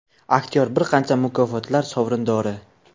Aktyor bir qancha mukofotlar sovrindori.